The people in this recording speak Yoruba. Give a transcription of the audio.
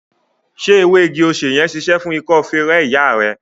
Ṣé ewé igi-osè ṣíṣe fún ikọ́ feré ìyá rẹ?